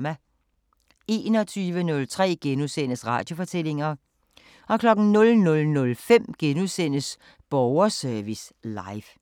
21:03: Radiofortællinger * 00:05: Borgerservice Live *